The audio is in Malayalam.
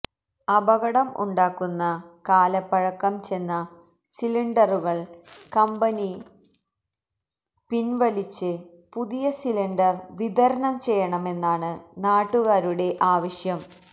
അപകടം ഉണ്ടാക്കുന്ന കാലപ്പഴക്കം ചെന്ന സിലിണ്ടറുകള് കമ്പനി പിന്വലിച്ച് പുതിയ സിലിണ്ടര് വിതരണം ചെയ്യണമെന്നാണ് നാട്ടുകാരുടെ ആവശ്യം